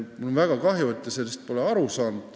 Mul on väga kahju, et te pole sellest aru saanud.